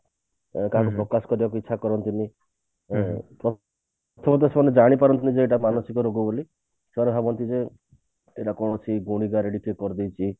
କାହାକୁ ପ୍ରକାଶ କରିବାକୁ ଇଛା କରନ୍ତି ନି ଅ ସେଇଟା ସେମାନେ ଜାଣିପାରନ୍ତି ନି ମାନସିକ ରୋଗ ବୋଲି ସେମାନେ ଭାବନ୍ତି ଯେ ଏଟା କୌଣସି ଗୁଣିଗାରେଡି କିଏ କରି ଦେଇଛି